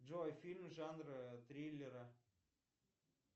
джой фильм жанра триллера